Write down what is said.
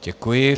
Děkuji.